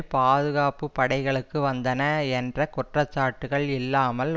பாதுகாப்பு படைகளுக்கு வந்தன என்ற குற்றச்சாட்டுக்கள் இல்லாமல்